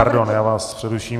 Pardon, já vás přeruším.